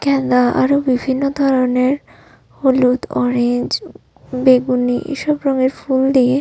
গ্যান্দা আরো বিভিন্ন ধরনের হলুদ অরেঞ্জ উউ বেগুনি এসব রঙের ফুল দিয়ে--